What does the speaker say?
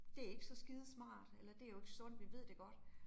Det ikke så skidesmart, eller det jo ikke sundt, vi ved det godt